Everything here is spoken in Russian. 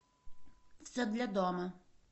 все для дома